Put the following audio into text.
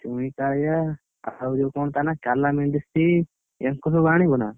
ଚୁଇଁ କାଳିଆ, ଆଉ ଯୋଉ କଣ ତା ନାଁ କାଲା ମେନଡ଼ିସ, ୟାଙ୍କୁ ସବୁ ଆଣିବନା?